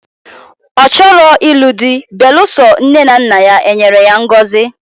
Ochoro inu di beluso nne na nna ya enyere ya ngozi.